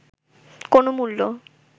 কোনো মূল্য